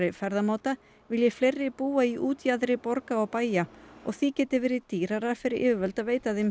ferðamáta vilji fleiri búa í útjaðri borga og bæja og því geti verið dýrar fyrir yfirvöld að veita þeim